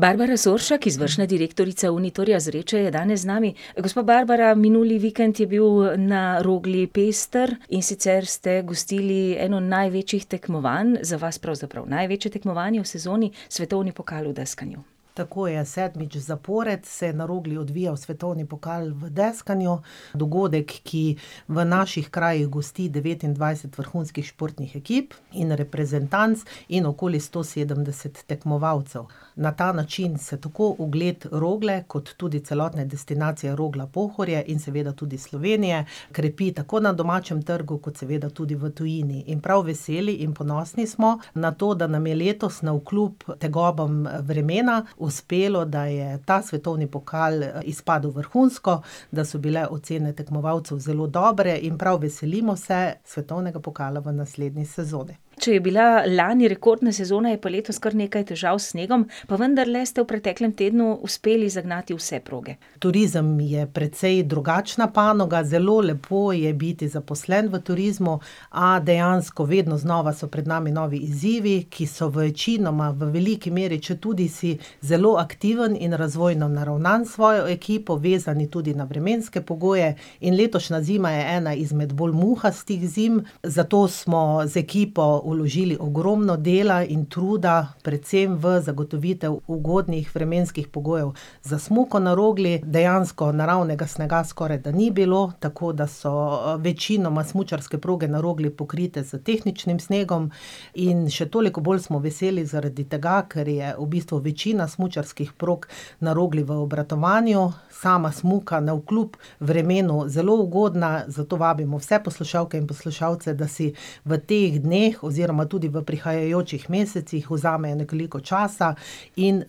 Barbara Soršak, izvršna direktorica Uniturja Zreče, je danes z nami, gospa Barbara, minuli vikend je bil na Rogli pester, in sicer ste gostili eno največjih tekmovanj, za vas pravzaprav največje tekmovanje v sezoni, svetovni pokal v deskanju. Tako je, sedmič zapored se je na Rogli odvijal svetovni pokal v deskanju. Dogodek, ki v naših krajih gosti devetindvajset vrhunskih športnih ekip in reprezentanc in okoli sto sedemdeset tekmovalcev. Na ta način se tako ugled Rogle, kot tudi celotne destinacije Rogla-Pohorje in seveda tudi Slovenije krepi tako na domačem trgu kot seveda tudi v tujini. In prav veseli in ponosni smo na to, da nam je letos navkljub tegobam vremena uspelo, da je ta svetovni pokal izpadel vrhunsko, da so bile ocene tekmovalcev zelo dobre, in prav veselimo se svetovnega pokala v naslednji sezoni. Če je bila lani rekordna sezona, je pa letos kar nekaj težav s snegom, pa vendarle ste v preteklem tednu uspeli zagnati vse proge. Turizem je precej drugačna panoga, zelo lepo je biti zaposlen v turizmu, a dejansko vedno znova so pred nami novi izzivi, ki so večinoma, v veliki meri, četudi si zelo aktiven in razvojno naravnan s svojo ekipo, vezani tudi na vremenske pogoje, in letošnja zima je ena izmed bolj muhastih zim, zato smo z ekipo vložili ogromno dela in truda predvsem v zagotovitev ugodnih vremenskih pogojev. Za smuko na Rogli dejansko naravnega snega skorajda ni bilo, tako da so večinoma smučarske proge na Rogli pokrite s tehničnim snegom, in še toliko bolj smo veseli zaradi tega, ker je v bistvu večina smučarskih prog na Rogli v obratovanju, sama smuka navkljub vremenu zelo ugodna, zato vabimo vse poslušalke in poslušalce, da si v teh dneh oziroma tudi v prihajajočih mesecih vzamejo nekoliko časa in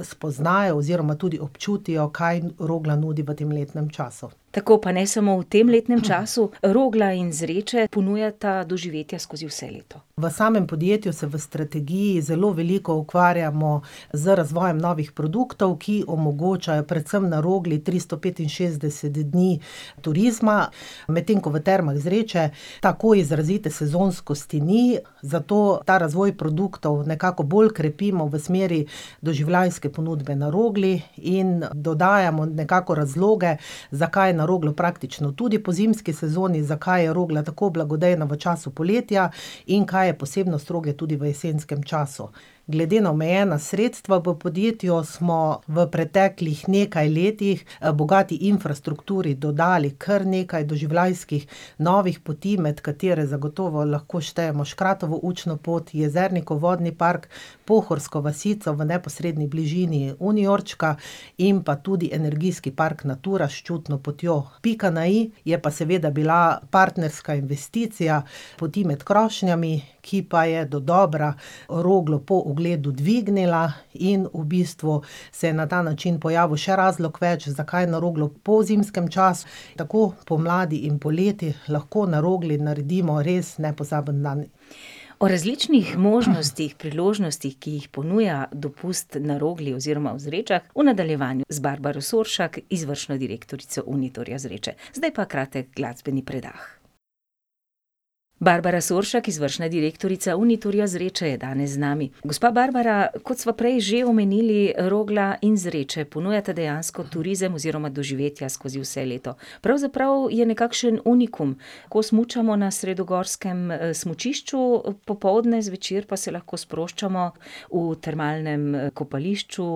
spoznajo oziroma tudi občutijo, kaj Rogla nudi v tem letnem času. Tako, pa ne samo v tem letnem času, Rogla in Zreče ponujata doživetje skozi vse leto. V samem podjetju se v strategiji zelo veliko ukvarjamo z razvojem novih produktov, ki omogočajo predvsem na Rogli tristo petinšestdeset dni turizma, medtem ko v termah Zreče tako izrazite sezonskosti ni, zato ta razvoj produktov nekako bolj krepimo v smeri doživljajske ponudbe na Rogli in dodajamo nekako razloge, za kaj na Roglo praktično tudi po zimski sezoni, zakaj je Rogla tako blagodejna v času poletja in kaj je posebnost Rogle tudi v jesenskem času. Glede na omejena sredstva v podjetju smo v preteklih nekaj letih, bogati infrastrukturi dodali kar nekaj doživljajskih novih poti, med katere zagotovo lahko štejemo Škratovo učno pot, Jezernikov vodni park, pohorsko vasico v neposredni bližini Uniurčka, in pa tudi energijski park Natura s čutno potjo. Pika na i je pa seveda bila partnerska investicija Poti med krošnjami, ki pa je dodobra Roglo po ogledu dvignila, in v bistvu se je na ta način pojavil še razlog več, zakaj na Roglo po zimskem času, tako pomladi in poleti lahko na Rogli naredimo res nepozaben dan. O različnih možnostih, priložnostih, ki jih ponuja dopust na Rogli oziroma v Zrečah, v nadaljevanju z Barbaro Soršak, izvršna direktorica Uniturja Zreče. Zdaj pa kratek glasbeni predah. Barbara Soršak, izvršna direktorica Unitorja Zreče je danes z nami. Gospa Barbara, kot sva prej že omenili, Rogla in Zreče ponujata dejansko turizem oziroma doživetja skozi vse leto. Pravzaprav je nekakšen unikum. Ko smučamo na sredogorskem, smučišču popoldne, zvečer pa se lahko sproščamo v termalnem kopališču,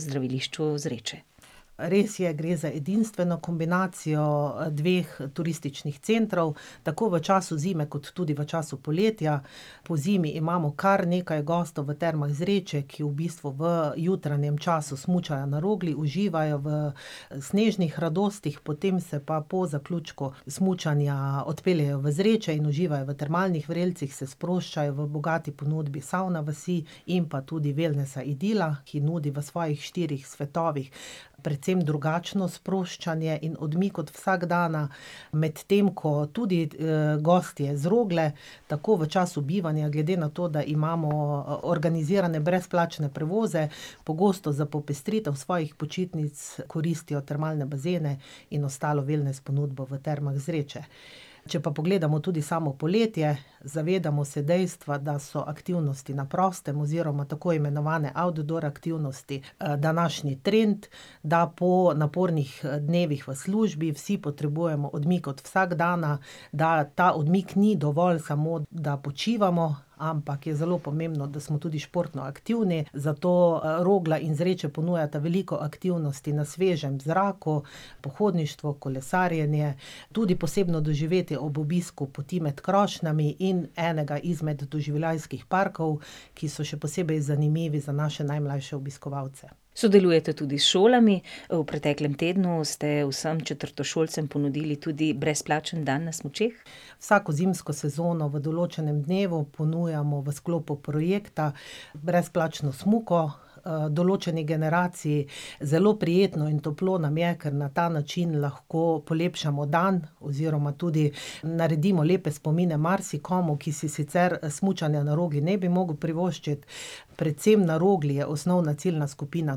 zdravilišču Zreče. Res je, gre za edinstveno kombinacijo, dveh turističnih centrov, tako v času zime kot tudi v času poletja. Pozimi imamo kar nekaj gostov v termah Zreče, ki v bistvu v jutranjem času smučajo na Rogli, uživajo v snežnih radostih, potem se pa po zaključku smučanja odpeljejo v Zreče in uživajo v termalnih vrelcih, se sproščajo v bogati ponudbi savna vasi in pa tudi velnesa Idila, ki nudi v svojih štirih svetovih predvsem drugačno sproščanje in odmik od vsakdana, medtem ko tudi, gostje z Rogle tako v času bivanja, glede na to, da imamo organizirane brezplačne prevoze, pogosto za popestritev svojih počitnic koristijo termalne bazene in ostalo velnes ponudbo v Termah Zreče. Če pa pogledamo tudi samo poletje, zavedamo se dejstva, da so aktivnosti na prostem oziroma tako imenovane outdoor aktivnosti, današnji trend, da po napornih, dnevih v službi vsi potrebujemo odmik od vsakdana, da ta odmik ni dovolj samo, da počivamo, ampak je zelo pomembno, da smo tudi športno aktivni, zato, Rogla in Zreče ponujata veliko aktivnosti na svežem zraku, pohodništvo, kolesarjenje, tudi posebno doživetje ob obisku Poti med krošnjami in enega izmed doživljajskih parkov, ki so še posebej zanimivi za naše najmlajše obiskovalce. Sodelujete tudi s šolami, v preteklem tednu ste vsem četrtošolcem ponudili tudi brezplačen dan na smučeh. Vsako zimsko sezono v določnem dnevu ponujamo v sklopu projekta brezplačno smuko, določeni generaciji. Zelo prijetno in toplo nam je, ker na ta način lahko polepšamo dan oziroma tudi naredimo lepe spomine marsikomu, ki si sicer smučanja na Rogli ne bi mogel privoščiti. Predvsem na Rogli je osnovna ciljna skupina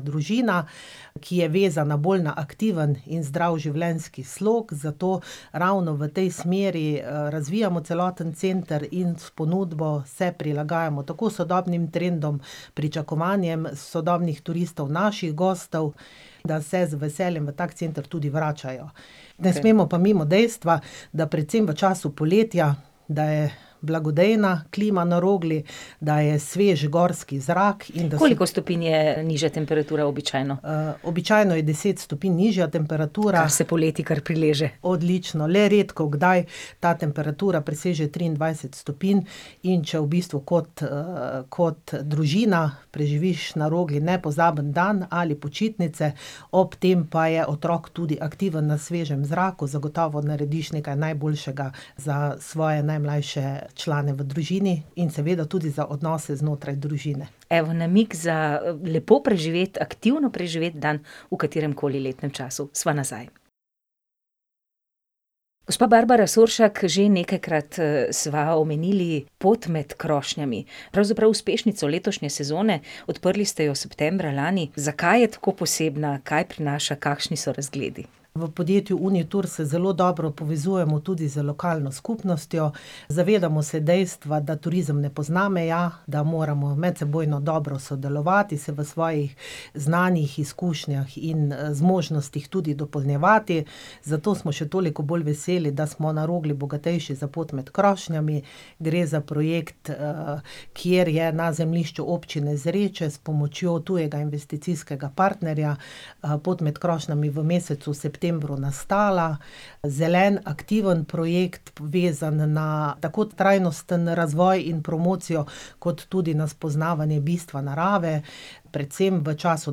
družina, ki je vezana bolj na aktiven in zdrav življenjski slog, zato ravno v tej smeri, razvijamo celoten center in s ponudbo se prilagajamo tako sodobnim trendom, pričakovanjem sodobnih turistov, naših gostov, da se z veseljem v tako center tudi vračajo. Ne smemo pa mimo dejstva, da predvsem v času poletja, da je blagodejna klima na Rogli, da je svež gorski zrak in da se ... Koliko stopinj je nižja temperatura običajno? običajno je deset stopinj nižja temperatura ... Kar se poleti kar prileže. Odlično, le redkokdaj ta temperatura preseže triindvajset stopinj, in če v bistvu kot, kot družina preživiš na Rogli nepozaben dan ali počitnice, ob tem pa je otrok tudi aktiven na svežem zraku, zagotovo narediš nekaj najboljšega za svoje najmlajše člane v družini in seveda tudi za odnose znotraj družine. Evo, namig za, lepo preživeti, aktivno preživeti dan v katerem koli letnem času. Sva nazaj. Gospa Barbara Soršak, že nekajkrat, sva omenili Pot med krošnjami. Pravzaprav uspešnico letošnje sezone, odprli ste jo septembra lani. Zakaj je tako posebna, kaj prinaša, kakšni so razgledi? V podjetju Unitur se zelo dobro povezujemo tudi z lokalno skupnostjo, zavedamo se dejstva, da turizem ne pozna meja, da moramo medsebojno dobro sodelovati, se v svojih znanjih, izkušnjah in, zmožnostih tudi dopolnjevati, zato smo še toliko bolj veseli, da smo na Rogli bogatejši za Pot med krošnjami. Gre za projekt, kjer je na zemljišču Občine Zreče s pomočjo tujega investicijskega partnerja, Pot med krošnjami v mesecu septembru nastala. Zelen, aktiven projekt, vezan na tako trajnostni razvoj in promocijo kot tudi na spoznavanje bistva narave. Predvsem v času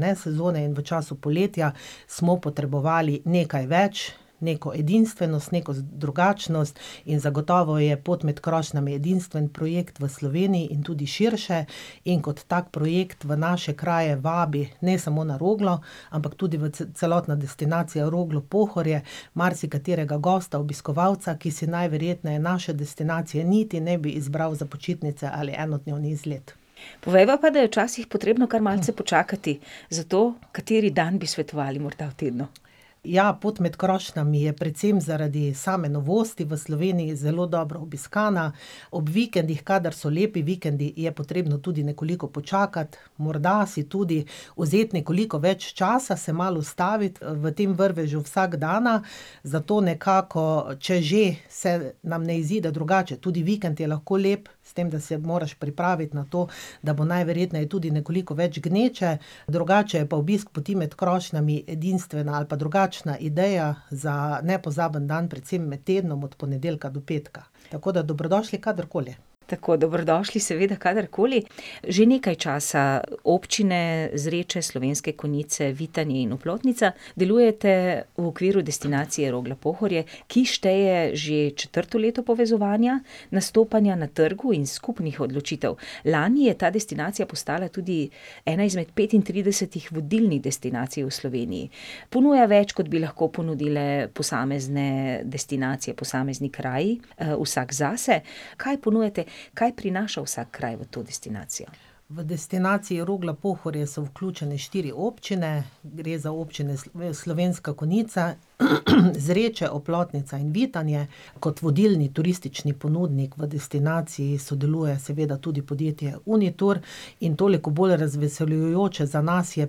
nesezone in v času poletja smo potrebovali nekaj več, neko edinstvenost, neko drugačnost in zagotovo je Pot med krošnjami edinstven projekt v Sloveniji in tudi širše in kot tak projekt v naše kraje vabi ne samo na Roglo, ampak tudi v celotno destinacijo Roglo-Pohorje marsikaterega gosta, obiskovalca, ki si najverjetneje naše destinacije niti ne bi izbral za počitnice ali enodnevni izlet. Povejva pa, da je včasih potrebno kar malce počakati. Zato, kateri dan bi svetovali morda? Ja, Pot med krošnjami je predvsem zaradi same novosti v Sloveniji zelo dobro obiskana, ob vikendih, kadar so lepi vikendi, je potrebno tudi nekoliko počakati, morda si tudi vzeti nekoliko več časa, se malo ustaviti, v tem vrvežu vsakdana, zato nekako, če že se nam ne izide drugače, tudi vikend je lahko lep, s tem, da se moraš pripraviti na to, da bo najverjetneje tudi nekoliko več gneče. Drugače je pa obisk Poti med krošnjami edinstvena ali pa drugačna ideja za nepozaben dan predvsem med tednom od ponedeljka do petka. Tako da dobrodošli kadarkoli. Tako, dobrodošli seveda kadarkoli. Že nekaj časa občine Zreče, Slovenske Konjice, Vitanje in Oplotnica delujete v okviru destinacije Rogla-Pohorje, ki šteje že četrto leto povezovanja, nastopanja na trgu in skupnih odločitev. Lani je ta destinacija postala tudi ena izmed petintridesetih vodilnih destinacij v Sloveniji. Ponuja več, kot bi lahko ponudile posamezne destinacije, posamezni kraji, vsak zase. Kaj ponujate, kaj prinaša vsak kraj v to destinacijo? V destinaciji Rogla-Pohorje so vključene štiri občine, gre za občine Slovenske Konjice, Zreče, Oplotnica in Vitanje. Kot vodilni turistični ponudnik v destinaciji sodeluje seveda tudi podjetje Unitur in toliko bolj razveseljujoče za nas je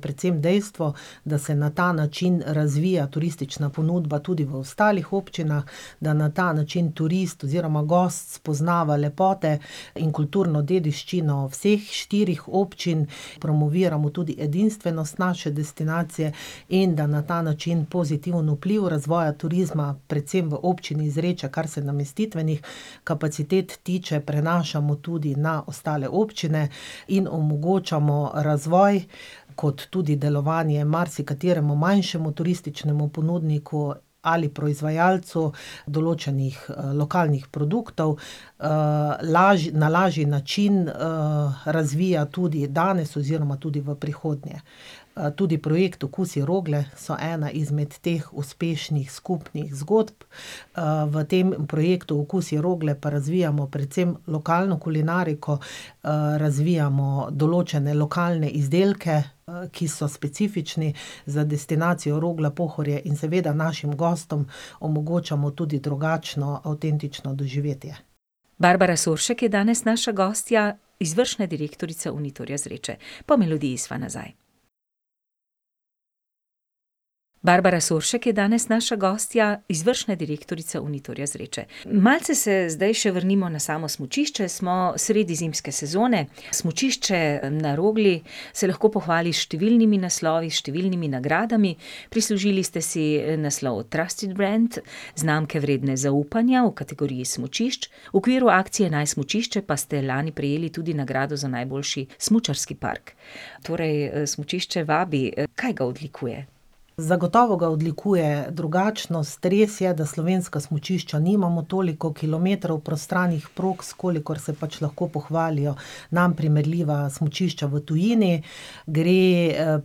predvsem dejstvo, da se na ta način razvija turistična ponudba tudi v ostalih občinah, da na ta način turist oziroma gost spoznava lepote in kulturno dediščino vseh štirih občin. Promoviramo tudi edinstvenost naše destinacije in da na ta način pozitiven vpliv razvoja turizma, predvsem v občini Zreče. Kar se namestitvenih kapacitet tiče, prenašamo tudi na ostale občine in omogočamo razvoj kot tudi delovanje marsikateremu manjšemu turističnemu ponudniku ali proizvajalcu določenih, lokalnih produktov. na lažji način, razvija tudi danes oziroma tudi v prihodnje. tudi projekt Okusi Rogle so ena izmed teh uspešnih skupnih zgodb, v tem projektu, Okusi Rogle, pa razvijamo predvsem lokalno kulinariko, razvijamo določene lokalne izdelke, ki so specifični za destinacijo Rogla-Pohorje, in seveda našim gostom omogočamo tudi drugačno avtentično doživetje. Barbara Soršak je danes naša gostja, izvršna direktorica Uniturja Zreče. Po melodiji sva nazaj. Barbara Soršak je danes naša gostja, izvršna direktorica Uniturja Zreče. Malce se zdaj še vrnimo na samo smučišče, smo sredi zimske sezone. Smučišče na Rogli se lahko pohvali s številnimi naslovi, številnimi nagradami, prislužili ste si naslov Trusted Brand, znamke, vredne zaupanja v kategoriji smučišč, v okviru akcije Naj smučišče pa ste lani prejeli tudi nagrado za najboljši smučarski park. Torej, smučišče vabi, kaj ga odlikuje? Zagotovo ga odlikuje drugačnost, res je, da slovenska smučišča nimamo toliko kilometrov prostranih prog, s kolikor se pač lahko pohvalijo nam primerljiva smučišča v tujini. Gre,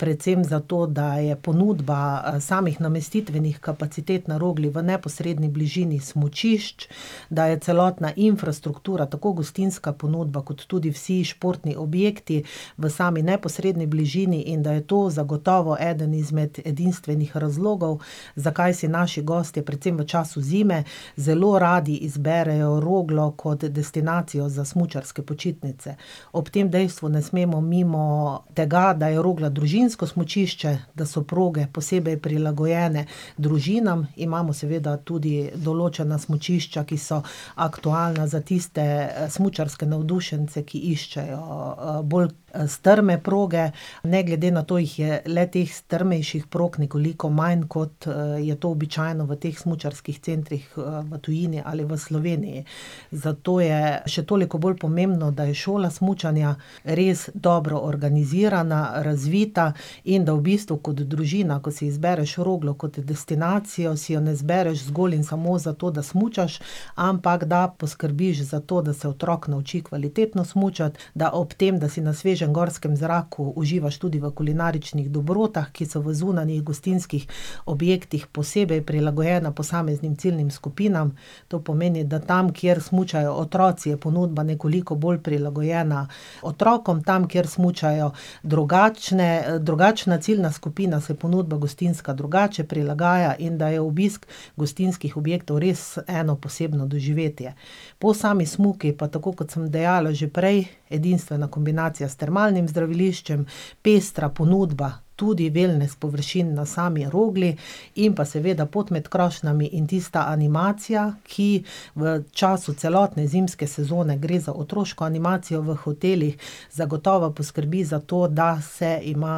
predvsem za to, da je ponudba, samih namestitvenih kapacitet na Rogli v neposredni bližini smučišč, da je celotna infrastruktura, tako gostinska ponudba kot tudi vsi športni objekti v sami neposredni bližini, in da je to zagotovo eden izmed edinstvenih razlogov, zakaj si naši gostje, predvsem v času zime, zelo radi izberejo Roglo kot destinacijo za smučarske počitnice. Ob tem dejstvu ne smemo mimo tega, da je Rogla družinsko smučišče, da so proge posebej prilagojene družinam, imamo seveda tudi določena smučišča, ki so aktualna za tiste, smučarske navdušence, ki iščejo, bolj, strme proge. Ne glede na to jih je le-teh strmejših prog nekoliko manj, kot, je to običajno v teh smučarskih centrih, v tujini ali v Sloveniji. Zato je še toliko bolj pomembno, da je šola smučanja res dobro organizirana, razvita, in da v bistvu kot družina, ko si izbereš Roglo kot destinacijo, si jo ne izbereš zgolj za to, da smučaš, ampak da poskrbiš za to, da se otrok nauči kvalitetno smučati, da ob tem, da si na svežem gorskem zraku, uživaš tudi v kulinaričnih dobrotah, ki so v zunanjih gostinskih objektih posebej prilagojena posameznim ciljnim skupinam. To pomeni, da tam, kjer smučajo otroci, je ponudba nekoliko bolj prilagojena otrokom, tam, kjer smučajo drugačne, drugačna ciljna skupina, se ponudba gostinska drugače prilagaja, in da je obisk gostinskih objektov res eno posebno doživetje. Po sami smuki pa, tako kot sem dejala že prej, edinstvena kombinacija s termalnim zdraviliščem, pestra ponudba tudi velnes površin na sami Rogli in pa seveda Pot med krošnjami in tista animacija, ki v času celotne zimske sezone, gre za otroško animacijo v hotelih, zagotovo poskrbi za to, da se ima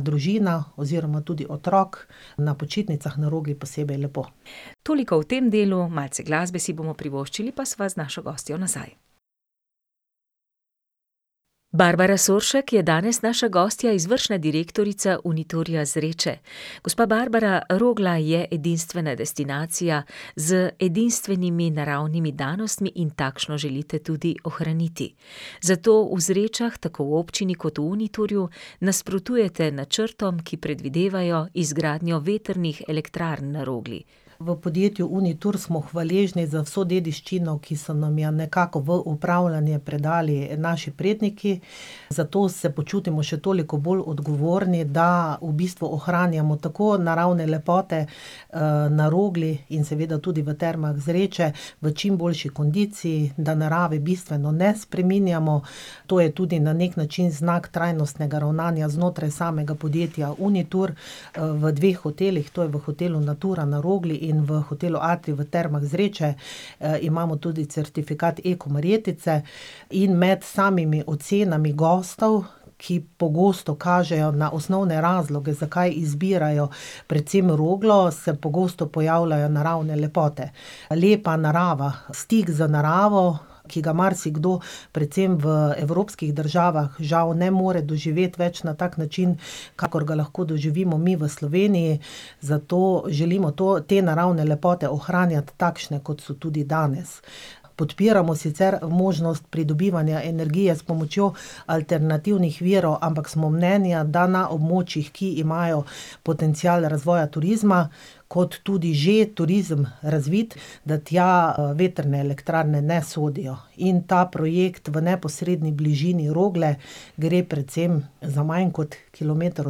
družina, oziroma tudi otrok, na počitnicah na Rogli posebej lepo. Toliko v tem delu, malce glasbe si bomo privoščili, pa sva z našo gostjo nazaj. Barbara Soršak je danes naša gostja, izvršna direktorica Uniturja Zreče. Gospa Barbara, Rogla je edinstvena destinacija z edinstvenimi naravnimi danostmi in takšno želite tudi ohraniti. Zato v Zrečah, tako v občini kot v Uniturju nasprotujete načrtom, ki predvidevajo izgradnjo vetrnih elektrarn na Rogli. V podjetju Unitur smo hvaležni za vso dediščino, ki so nam jo nekako v upravljanje predali naši predniki, zato se počutimo še toliko bolj odgovorni, da v bistvu ohranjamo tako naravne lepote, na Rogli in seveda tudi v termah Zreče v čim boljši kondiciji, da narave bistveno ne spreminjamo. To je tudi na neki način znak trajnostnega ravnanja znotraj samega podjetja Unitur. v dveh hotelih, to je v hotelu Natura na Rogli in v hotelu Atrij v Termah Zreče, imamo tudi certifikat Eko marjetice in med samimi ocenami gostov, ki pogosto kažejo na osnovne razloge, zakaj izbirajo recimo Roglo, se pogosto pojavljajo naravne lepote. Lepa narava, stik z naravo, ki ga marsikdo, predvsem v evropskih državah, žal ne more doživeti več na tak način, kakor ga lahko doživimo mi v Sloveniji, zato želimo to, te naravne lepote ohranjati takšne, kot so tudi danes. Podpiramo sicer možnost pridobivanja energije s pomočjo alternativnih virov, ampak smo mnenja, da na območjih, ki imajo potencial razvoja turizma kot tudi že turizem razvit, da tja vetrne elektrarne ne sodijo. In ta projekt v neposredni bližini Rogle, gre predvsem za manj kot kilometer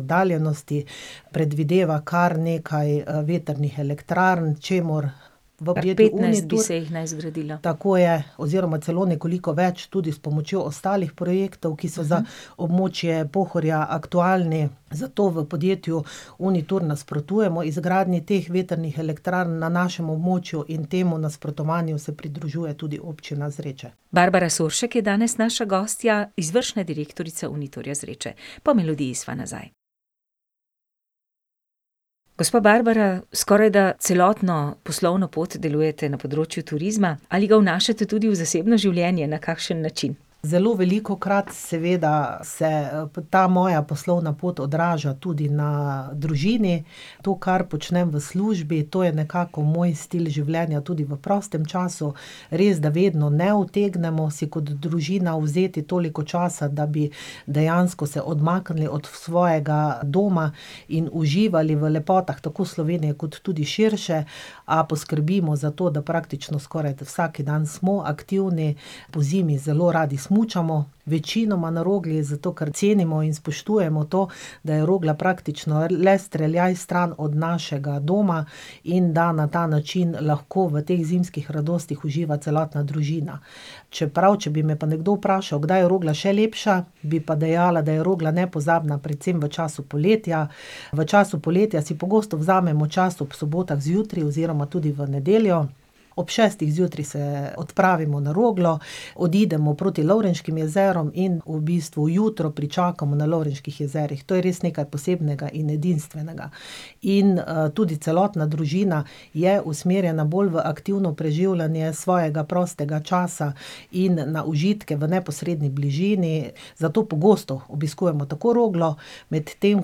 oddaljenosti, predvideva kar nekaj, vetrnih elektrarn, čemur bo Unitur ... Petnajst bi se jih naj zgradilo. Tako je, oziroma celo nekoliko več tudi s pomočjo ostalih projektov, ki so za območje Pohorja aktualni. Zato v podjetju Unitur nasprotujemo izgradnji teh vetrnih elektrarn na našem območju in temu nasprotovanju se pridružuje tudi Občina Zreče. Barbara Soršak je danes naša gostja, izvršna direktorica Uniturja Zreče. Po melodiji sva nazaj. Gospa Barbara, skorajda celotno poslovno pot delujete na področju turizma. Ali ga vnašate tudi v zasebno življenje, na kakšen način? Zelo velikokrat seveda se, ta moja poslovna pot odraža tudi na družini, to, kar počnem v službi, to je nekako moj stil življenja tudi v prostem času. Resda vedno ne utegnemo si kot družina vzeti toliko časa, da bi dejansko se odmaknili od svojega doma in uživali v lepotah tako Slovenije kot tudi širše, a poskrbimo za to, da praktično skorajda vsaki dan smo aktivni. Pozimi zelo radi smučamo, večinoma na Rogli, zato ker cenimo in spoštujemo to, da je Rogla praktično le streljaj stran od našega doma in da na ta način lahko v teh zimskih radostih uživa celotna družina. Čeprav, če bi me pa nekdo vprašal, kdaj je Rogla še lepša, bi pa dejala, da je Rogla nepozabna predvsem v času poletja. V času poletja si pogosto vzamemo čas ob sobotah zjutraj oziroma tudi v nedeljo, ob šestih zjutraj se odpravimo na Roglo, odidemo proti Lovrenškim jezerom in v bistvu jutro pričakamo na Lovrenških jezerih. To je res nekaj posebnega in edinstvenega. In, tudi celotna družina je usmerjena bolj v aktivno preživljanje svojega prostega časa in na užitke v neposredni bližini, zato pogosto obiskujemo tako Roglo, medtem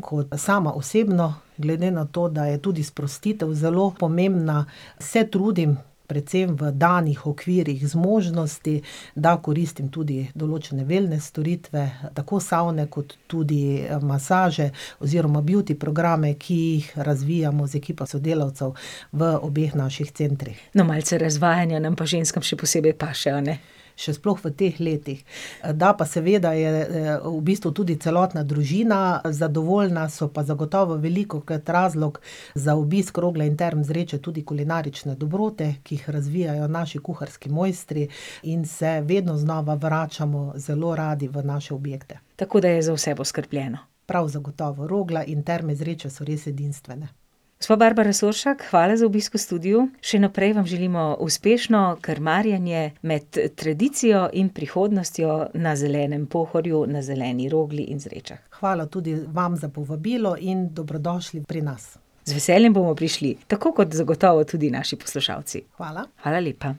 ko sama osebno, glede na to, da je tudi sprostitev zelo pomembna, se trudim predvsem v danih okvirih zmožnosti, da koristim tudi določene velnes storitve, tako savne kot tudi, masaže oziroma beauty programe, ki jih razvijamo z ekipo sodelavcev v obeh naših centrih. No, malce razvajanja nam pa ženskam še posebej paše, a ne? Še sploh v teh letih. Da pa seveda je, v bistvu tudi celotna družina zadovoljna, so pa zagotovo velikokrat razlog za obisk Rogle in Term Zreče tudi kulinarične dobrote, ki jih razvijajo naši kuharski mojstri, in se vedno znova vračamo zelo radi v naše objekte. Tako da je za vse poskrbljeno. Prav zagotovo, Rogla in Terme Zreče so res edinstvene. Gospa Barbara Soršak, hvala za obisk v studiu. Še naprej vam želimo uspešno krmarjenje med tradicijo in prihodnostjo na zelenem Pohorju, na zeleni Roglih in Zrečah. Hvala tudi vam za povabilo in dobrodošli pri nas. Z veseljem bomo prišli, tako kot zagotovo tudi naši poslušalci. Hvala. Hvala lepa.